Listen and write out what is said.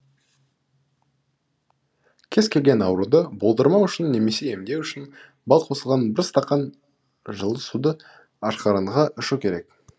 кез келген ауруды болдырмау үшін немесе емдеу үшін бал қосылған бір стақан жылы суды ашқарынға ішу керек